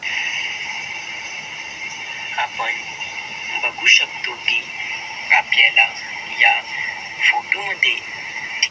आपण बघू शकतो की आपल्याला या फोटोमध्ये --